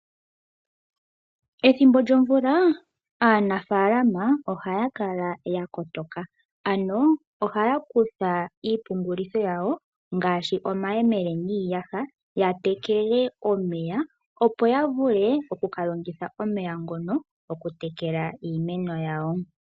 Ethimbo lyomvula aanafaalama oha ya kala ya kotoka, ano ohaya kutha iipungulitho yawo ngaashi omayemele niiyaha ya tegeke omeya opo ya vule oku ka longitha omeya ngono oku ka tekela iimeno yawo.